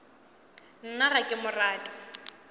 nna ga ke mo rate